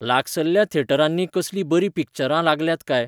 लागसल्ल्या थिएटरांनी कसलींय बरीं पिक्चरां लागल्यांत काय?